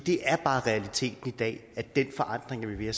er bare realiteten i dag at den forandring er ved at